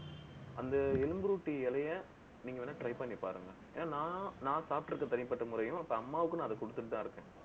அந்த எலும்புருட்டி இலையை நீங்க வேணா try பண்ணி பாருங்க. ஏன்னா, நான் நான் சாப்பிட்டிருக்க தனிப்பட்ட முறையும், இப்ப அம்மாவுக்கு நான் அதை குடுத்துட்டுதான் இருக்கேன்